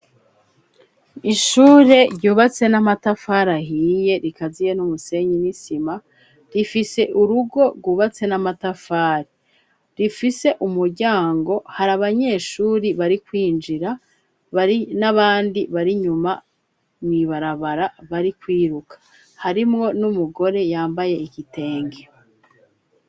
Ishure ryubatse n'amatafari ahiye rikaziye n'umusenyi n'isima, rifise urugo rwubatse n'amatafari, rifise umuryango hari abanyeshuri bari kwinjira bari n'abandi bari nyuma muibarabara bari kwiruka, harimwo n'umugore yambaye igitenge.